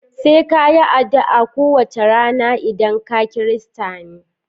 Sai ka yi adu'a ko wace rana idan kaKirista ne